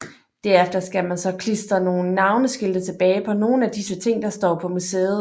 Derefter skal man så klister nogle navneskilte tilbage på nogle af disse ting der står på museet